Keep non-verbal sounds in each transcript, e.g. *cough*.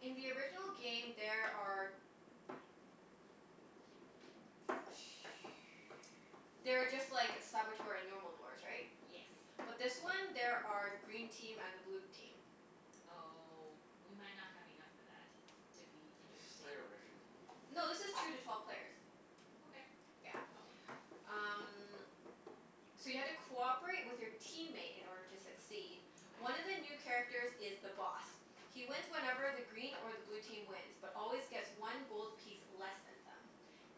in the original game there are *noise* there are just like Saboteur and normal dwarfs, right? Yes. But this one there are green team and a blue team. Oh, we might not have enough for that. To be *noise* Let's just interesting. play original. No, this is two to twelve players. Okay. Yeah. Oh. Um So you have to cooperate with your teammate in order to succeed. Okay. One of the new characters is The Boss. He wins whenever the green or the blue team wins but always gets one gold piece less than them.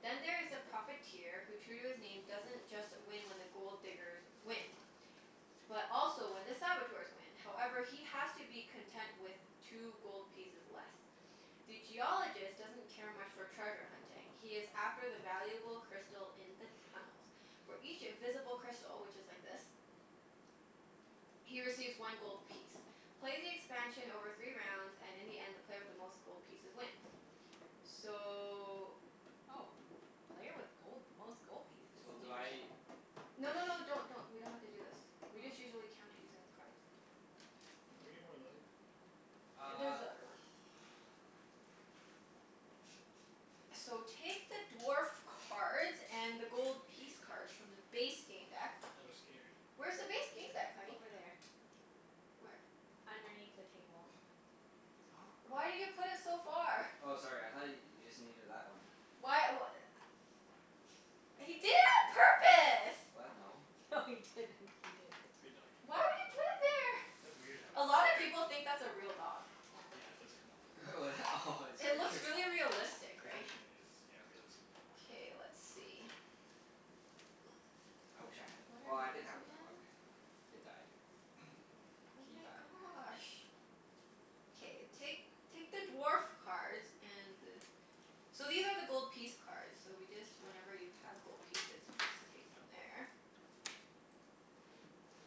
Then there is The Profiteer who, true to his name, doesn't just win when the Gold Diggers win. But also when the Saboteurs win. However, he has to be content with two gold pieces less. The Geologist doesn't care much for treasure hunting. He is after the valuable crystal in the tunnels. For each visible crystal, which is like this. He receives one gold piece. Play the expansion over three rounds, and in the end the player with the most gold pieces wins. So Oh. Player with gold, most gold pieces? So do I Interesting. No push no no, don't don't. We don't have to do this. We just Oh. usually count it using the cards. Okay. Oh, can we get more light? There's Uh the *noise* other one. So, take the dwarf cards and the gold piece cards from the *laughs* base game deck. I was scared. Where's the base game deck, honey? Over there. Where? Underneath the table. Oh, *noise* Why crap. did you put it so far? Oh, sorry. I thought y- you just needed that one. Why w- a- He did it on purpose! What? No. No, he didn't. He didn't. Good doggie. Why would you put it there? That's weird to have a A dog lot of there. people think that's a real dog. Yeah, it does kinda look *laughs* Oh, that? Oh, it It scared looks you. really realistic, right? Position is, yeah, realistic. K, let's see. *noise* I wish I had a, What well, are I these did have a dog. again? It died. *noise* Oh He my died. gosh. K, I see. take take the dwarf cards and the So these are the gold piece cards, so we just, whenever you have gold pieces you just take from there.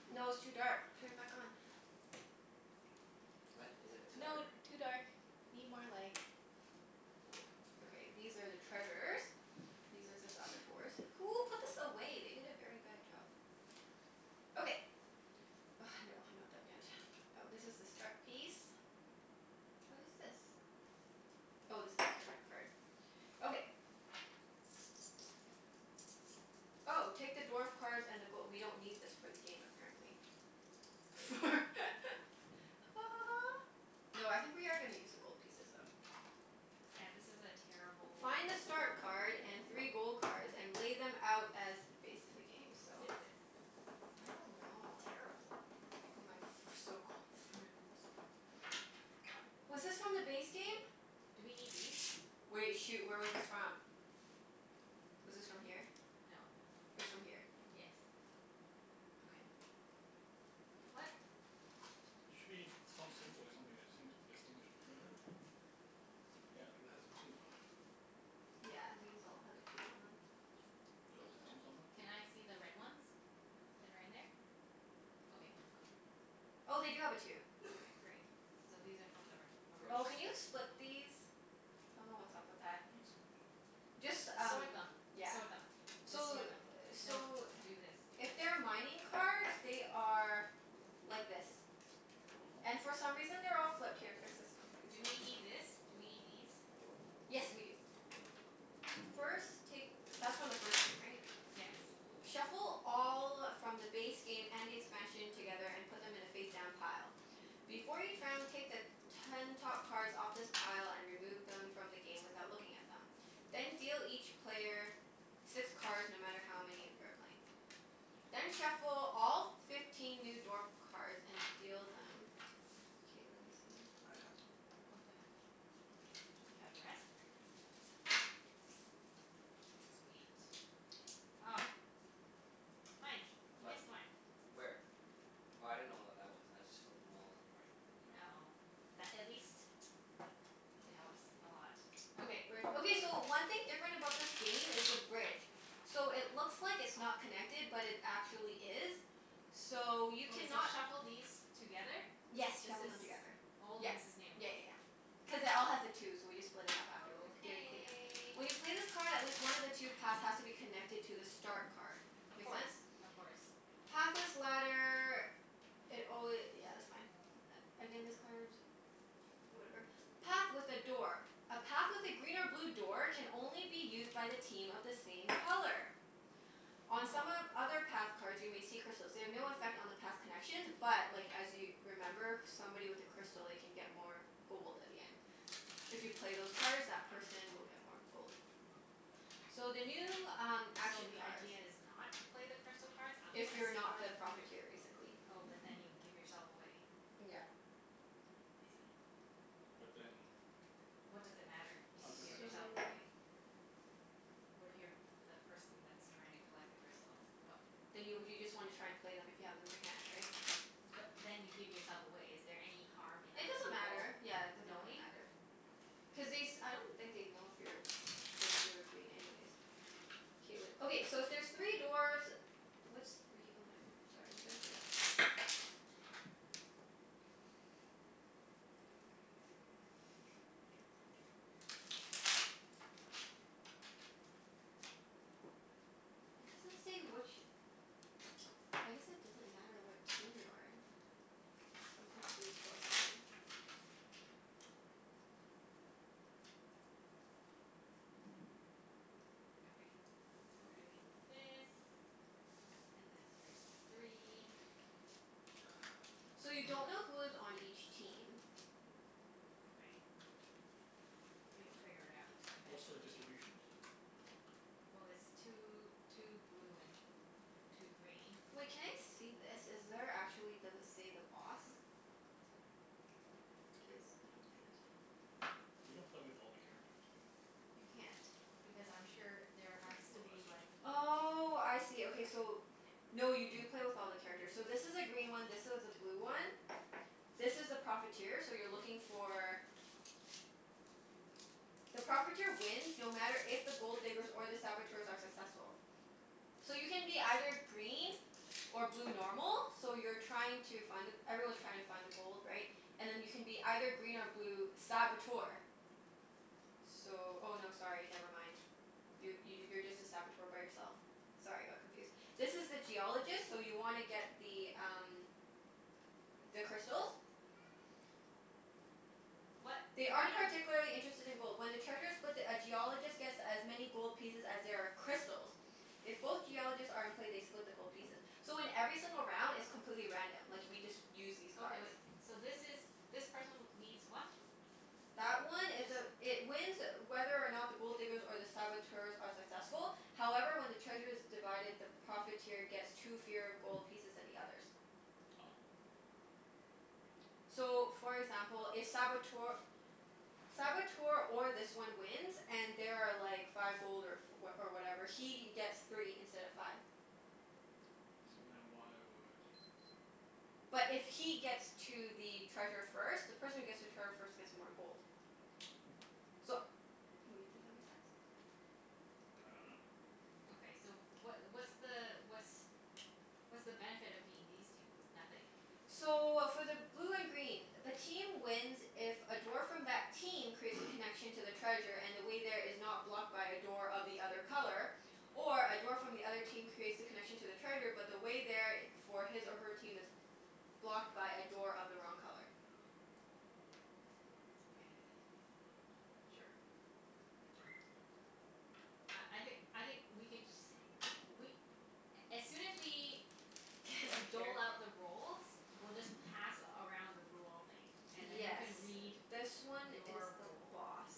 No, it's too dark. Turn it back on. What? Is it too dark? No, *noise* too dark. Need more light. Okay, these are the treasures. These are ze *noise* Saboteurs. Who put this away? They did a very bad job. Okay. Oh, no, I'm not done yet. Oh, this is the start piece. What is this? Oh, this is character card. Okay. Oh, take the dwarf cards and the go- we don't need this for the game, apparently. For *laughs* Ha ha ha. No, I think we are gonna use the gold pieces though. Yeah, this is a terrible Find a start card and three gold cards and *inaudible* lay them out as based in the game. Who So who did this? I don't know, I Terrible. My f- my so-called friends. Okay. Was this from the base game? Do we need these? Wait. Shoot, where was this from? *noise* Was this from here? No. It was from here. Yes. Okay. What? There should be some symbol or something to distinguish distinguish between them. Yeah, like that has a two on it. Yeah, these all have a two on them. Do those Those have don't? twos on them? Can I see the red ones? That are in there? Okay. No, go. Oh, they do have a two. Okay, great. So these are from the re- Oh, original. can you First. split these? I dunno what's up with that. What do you mean, split them? Just S- um, sort them. yeah. Sort Oh. them. Just So sort them. *noise* No, so do this. If they're mining cards, they are like this. And Oh. for some reason they're all flipped. Here, fix this one too. Do we need this? Do we need these? Yes, we do. First, take That's from the first game, right? Yes. Shuffle all from the base game and the expansion together, and put them in a face-down pile. Before each round, take the ten top cards off this pile and remove them from the game without looking at them. Then deal each player six cards, no matter how many of you are playing. Then shuffle all f- fifteen new dwarf cards and deal them. K, let me see. I got them. Okay. Do you have the rest? Sweet. Ah. Mike. You What? missed one. Where? Oh, I didn't know what that was. I just flipped them all in the right, you know? Oh. That at least *noise* it Yeah. helps a lot. Ooh, Yeah, Okay. bridge. don't worry Okay, so about it. one thing different about this game is the bridge. So, it looks like it's not connected but it actually is. So, you Okay, so cannot shuffle these together? Yes, This shuffle them is together. old Yep. and this is Yeah new. yeah yeah. Cuz it all has a two, so we just split it up afterward during clean-up. Okay. When you play this card at least one of the two paths has to be connected to the start card. Of Make course. sense? Of course. Pathless ladder It alwa- yeah, that's fine. A- again, this card Whatever. Path with a door. A path with a green or blue door can only be used by the team of the same color. On some of Oh. other path cards you may see crystals. They have no affect on the path connections but like, as you remember somebody with a crystal, they can get more gold at the end. If you play those cards that person will get more gold. So, the new um So action the cards. idea is not to play the crystal cards unless If you you're not are the the pr- Profiteer, basically. Oh, but then you give yourself away. Yeah. I see. But then how What does it matter if you does it give affect other yourself people? So away? What if you're a p- the person that's trying to collect the crystals? *noise* What Then you w- you just wanna try and play them if you have them in your hand, right? But then you give yourself away. Is there any harm in It other doesn't people matter. Yeah, it doesn't really knowing? matter. *noise* Cuz they s- I don't think they'd know if you're being blue or green anyways. K, wait. Okay, so if there's three dwarfs What's three oh, nevermi- Sorry, I'm trying to figure out *noise* Jaw jaw jaw. It doesn't say which I guess it doesn't matter what team you're in. I'm confused about something. Okay. So, we're doing this and then there's the three. So, you don't know *noise* who is on each team. Okay. But you'll figure it out What's the eventually. distribution? Well it's two two blue and two green. Wait, can I see this? Is there actually, does it say the Boss? This, I don't get it. We don't play with all the characters, do we? You can't. Because I'm sure there There's only has four to of us. be like Oh, I see. Okay, so No, you do *noise* play with all the characters. So this is a green one, this is a blue one. This is the Profiteer, so you're looking for The Profiteer wins no matter if the Gold Diggers or the Saboteurs are *inaudible* successful. So you can be either green or blue normal. So you're trying to find the, everyone's trying to find the gold, right? And then you can be either green or blue Saboteur. So, oh no, sorry, never mind. You y- you're just a Saboteur by yourself. Sorry, I got confused. This is the Geologist, so you wanna get the um the crystals. What? *noise* They They are aren't no particularly interested in gold. When the treasure's split, the a Geologist gets as many gold pieces as there are crystals. If both Geologists are in play, they split the gold pieces. *noise* So, in every single round it's completely random. Like, we just use these cards. Okay, wait. So this is, this person needs what? That one It, is a this It wins whether or not the Gold Diggers or the Saboteurs are successful. However, when the treasure's divided, the Profiteer gets two fewer gold pieces than the others. Ah. *noise* So, for example, if Saboteur Saboteur or this one wins and there are like five gold or f- oh or whatever he gets three instead of five. So, then why would oh, I But don't know. if he gets to the treasure first The person who gets to trevor first gets more gold. So wait, does that make sense? I dunno. Okay, so what what's the what's what's the benefit of being these two? Nothing? *noise* So, for the blue and green the team wins if a dwarf from that team creates a *noise* connection to the treasure and the way there is not blocked by a door of the other color. Or a dwarf from the other team creates the connection to the treasure but the way there i- for his or her team is blocked by a door of the wrong color. Okay. Sure. Uh, I think I think we can just we *noise* as soon as we dole out *inaudible* the roles we'll just pass around the rule thing. And then you Yes, can read this one is your the role. Boss.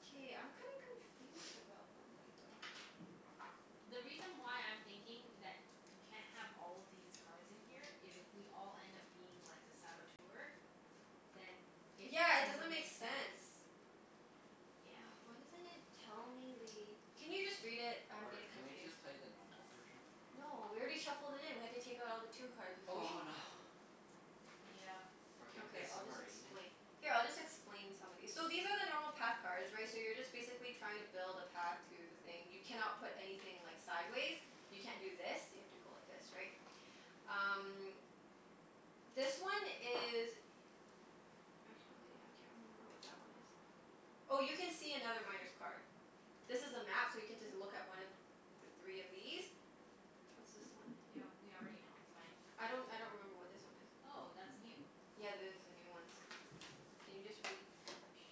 K, I'm kinda confused about one thing though. The reason why I'm thinking that you c- can't have all these cards in here is if we all end up being like, the Saboteur then it Yeah, it doesn't doesn't make make sense. sense. Yeah. Oh, why doesn't it tell me the Can you just read it? I'm Or getting can we confused. just play the normal version? No, we already shuffled it in. We have to take out all the two cards if we Oh no. Yep. Or can we Okay, play I'll just submarine? explain Here, I'll just explain some of these. So, these are the normal path cards right? So you're just basically trying to build a path to the thing. You cannot put anything like, sideways. You can't do this. You have to go like this, right? *noise* Um this one is Actually, I can't remember what that one is. Oh, you can see another Miner's card. This is a map so you get to z- look at one of the three of these. What's this one? Yeah, we already know. That's fine. I don't I don't remember what this one is. Oh, that's new. Yeah, there's the new ones. Can you just read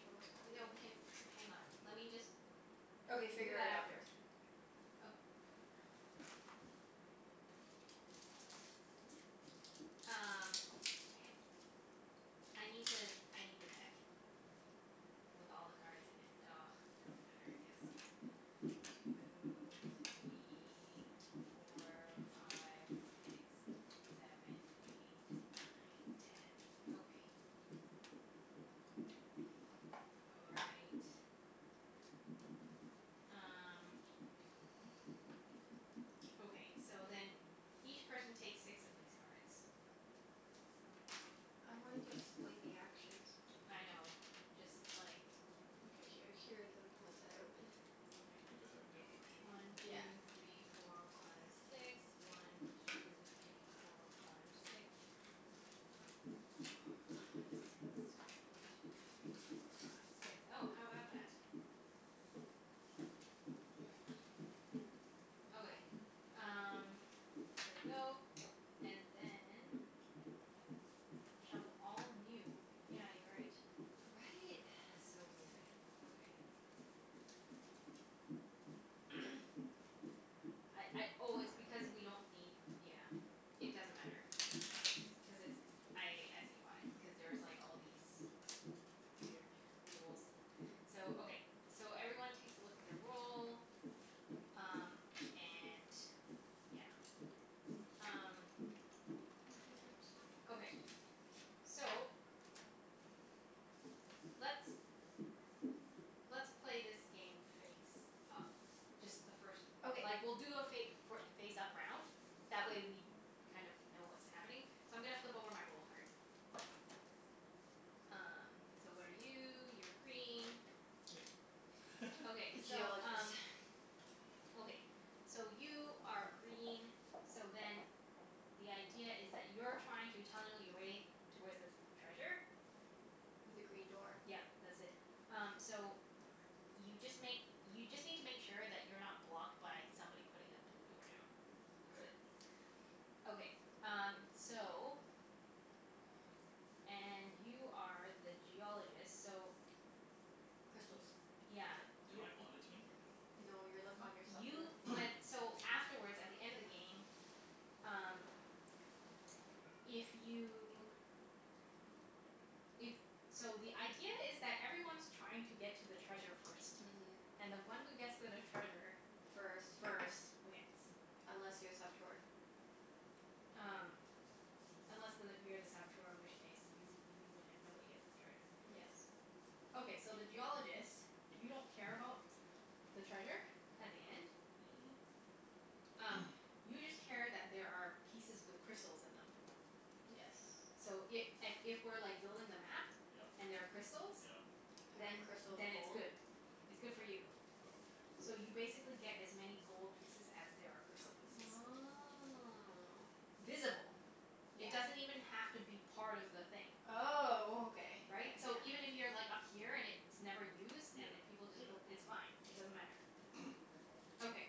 Show us what the new No, ones can, hang on. Let me just Okay, We'll do figure that it out after. first. Oka- *noise* Um, h- I need to, I need the deck. With all the cards in it. *noise* Doesn't matter I guess. Two three four five six seven eight nine ten. Okay. All right. Um Okay, so then *noise* each person takes six of these cards. I wanted to explain the actions. I know. Just like Okay. Here here are the ones that I opened. Okay. We'll just have a demo *noise* game. One Yeah. two three four five six. One two three four five six. One two three four five six. One two three four five six. Oh, how about that? Nice. Okay, *noise* um there we go. And then shuffle all new, yeah, you're right. Right? It's *noise* so weird. Okay. *noise* I I oh, it's because we don't need, yeah. It doesn't matter. Cuz it's, I I see why. Because there's like, all *noise* these weird rules. So, okay. So, everyone takes a look at their role. Um, and yeah. Um Hope these are sample cards Okay. too. So let's *noise* let's play this game face up. Just the first Okay. Like we'll do a fa- for face up round. That way we kind of know what's happening. So, I'm gonna flip over my role card. Um, so what are you? You're green. Yay. Okay, *laughs* so Geologist. um Okay. *noise* So, you are green, so then the idea is that you're trying to tunnel your way towards this treasure. With a green door. Yep. That's it. Um, so y- you just make, you just need to make sure that you're not blocked by somebody putting a blue door down. *noise* That's K. it. Okay. Um, so and you are the Geologist, so Y- Crystals. *noise* yeah. Am I You're u- on a team, or no? No, you're like on your Y- you *inaudible* went, *noise* so afterwards, at the end of the game Um if you If, *noise* so the idea is that everyone's trying to get to the treasure first. Mhm. And the one who gets to the treasure First. first wins. Unless you're a Saboteur. *noise* Um Unless the, you're the Saboteur in which case you you win if nobody gets the treasure. Yes. Okay, so the Geologist you don't care about the treasure at the end. Mhm. Um, *noise* you just care that there are pieces with crystals in them. Yes. So i- a- if we're like building the map Yep. and there are crystals Yep. Every then Yep. crystal is then it's gold. good. It's Okay. good for you. Okay. So you basically get as many gold pieces as there are crystal pieces. Oh. Visible. Yeah. It doesn't even have to be part of the thing. Oh, okay okay, Right? So yeah. even if you're like up here and it's never used Yeah. and if people Yeah, just built, yeah. it's fine. It doesn't matter. *noise* Okay.